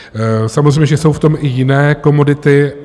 Samozřejmě že jsou v tom i jiné komodity.